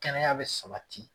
Kɛnɛya be sabati